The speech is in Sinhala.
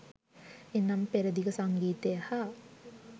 එනම් පෙරදිග සංගීතය හා